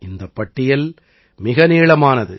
இந்தப் பட்டியல் மிக நீளமானது